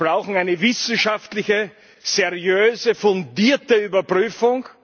Wir brauchen eine wissenschaftliche, seriöse, fundierte Überprüfung.